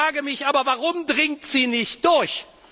Ich frage mich aber Warum dringt sie nicht durch?